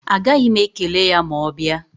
Agaghị m ekele ya ma ọ bịa.